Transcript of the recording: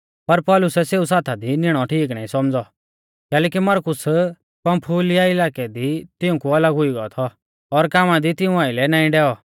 पर पौलुसै सेऊ साथा दी निणौ ठीक नाईं सौमझ़ौ कैलैकि मरकुस पंफूलिया इलाकै दी तिऊंकु अलग हुई गौ थौ और कामा दी तिऊं आइलै नाईं डैऔ